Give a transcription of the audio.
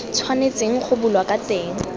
tshwanetseng go bulwa ka teng